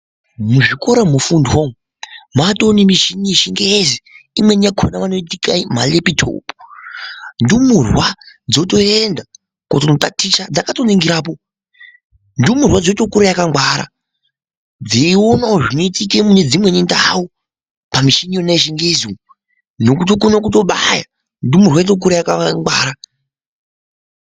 Muzvikora mofundwa umu, matoonemichini yechingezi, imweni yakhona vanoiti marepitopu. Ndumurwa dzotoenda kotonotaticha dzakatoningirapo. Ndumurwa yotokura yakangwara, dzeionawo zvinoitika munedzimweni ndau pamichini iyona yechingezi, nokutokone kutobaya, ndumurwa yotokura yakangwara.